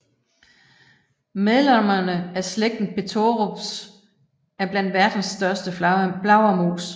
Medlemmerne af slægten Pteropus er blandt verdens største flagermus